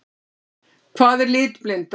Hvað er litblinda?